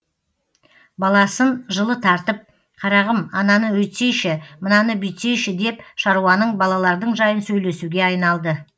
баласын жылы тартып қарағым ананы өйтсейші мынаны бүйтсейші деп шаруаның балалардың жайын сөйлесуге айналды